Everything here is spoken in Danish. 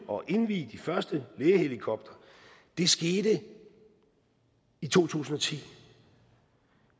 og indvie de første lægehelikoptere det skete i to tusind og ti